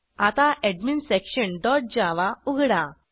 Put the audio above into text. आता admin section dot Java उघडा